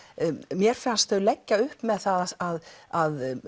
mér fannst þau leggja upp með það að að